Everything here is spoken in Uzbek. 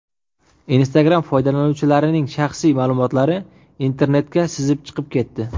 Instagram foydalanuvchilarining shaxsiy ma’lumotlari internetga sizib chiqib ketdi.